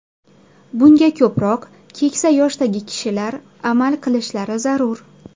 Bunga ko‘proq keksa yoshdagi kishilar amal qilishlari zarur.